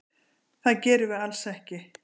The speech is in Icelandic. Það gerum við alls ekki.